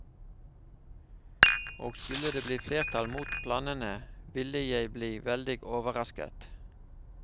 Og skulle det bli flertall mot planene, ville jeg bli veldig overrasket.